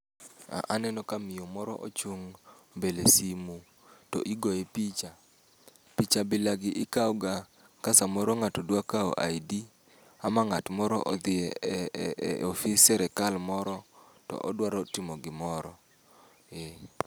A aneno ka miyo moro ochung' mbele simu to igoye picha. Picha bila gi ikawo ga ka samoro ng'ato dwa kawo ID, ama ng'at moro odhiye e e ofis sirikal moro, to odwaro timo gimoro. Ee.